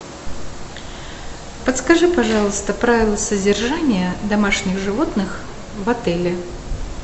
подскажи пожалуйста правила содержания домашних животных в отеле